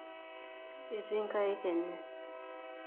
Eti nkaek enye.